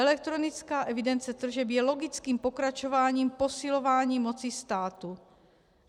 Elektronická evidence tržeb je logickým pokračováním posilování moci státu.